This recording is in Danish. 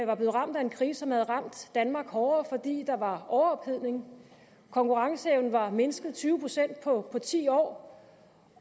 var blevet ramt af en krise som havde ramt danmark hårdere fordi der var overophedning konkurrenceevnen var mindsket tyve procent på på ti år